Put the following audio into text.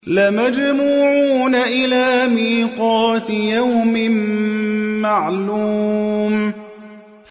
لَمَجْمُوعُونَ إِلَىٰ مِيقَاتِ يَوْمٍ مَّعْلُومٍ